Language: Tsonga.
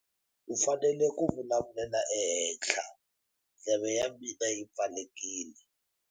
U fanele ku vulavulela ehenhla, ndleve ya mina yi pfalekile.